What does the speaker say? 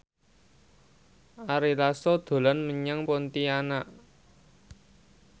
Ari Lasso dolan menyang Pontianak